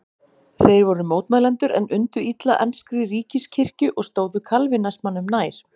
Þeir voru mótmælendur en undu illa enskri ríkiskirkju og stóðu kalvínismanum nær.